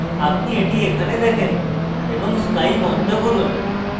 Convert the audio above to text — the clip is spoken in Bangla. আপনি এটি এখানে দেখেন এবং sky বন্ধ করুন